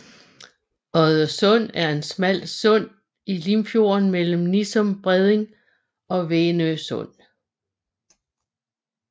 Oddesund er et smalt sund i Limfjorden mellem Nissum Bredning og Venø Sund